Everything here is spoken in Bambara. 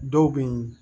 Dɔw be yen